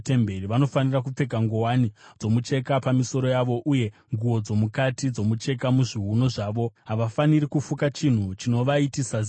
Vanofanira kupfeka nguwani dzomucheka pamisoro yavo uye nguo dzomukati dzomucheka muzviuno zvavo. Havafaniri kufuka chinhu chinovaitisa ziya.